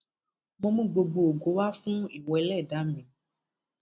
mo mú gbogbo ògo wá fún ìwọ ẹlẹdàá mi